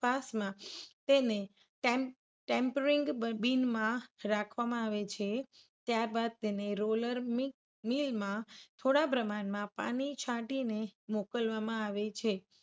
પાસમા તેને tempering bean માં રાખવામાં આવે છે. ત્યારબાદ તેને roller mill માં થોડા પ્રમાણમાં પાણી છાંટીને મોકલવામાં આવે છે.